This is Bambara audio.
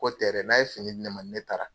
Ko tɛ dɛ! N'a ye fini di ne ma ni ne taara